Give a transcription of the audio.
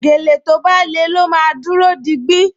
Gèlè tó bá le ló máa dúró digbí